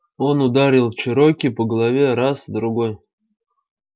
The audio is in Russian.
он ударил чероки по голове раз другой